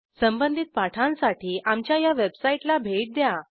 संबंधित पाठांसाठी आमच्या httpspoken tutorialorg या वेबसाईटला भेट द्या